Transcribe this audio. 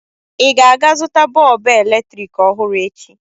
Ị ga-aga zụta bọọbụ eletrik ọhụrụ echi?